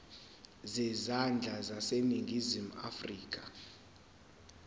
zezandla zaseningizimu afrika